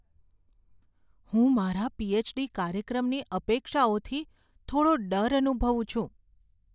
હું મારા પી.એચ.ડી. કાર્યક્રમની અપેક્ષાઓથી થોડો ડર અનુભવું છું.